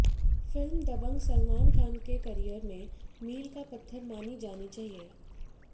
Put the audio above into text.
film Dabangg Salman Khan के career में मील का पत्थर मानी जानी चाहिए